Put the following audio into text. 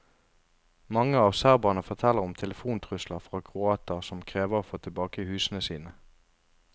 Mange av serberne forteller om telefontrusler fra kroater som krever å få tilbake husene sine.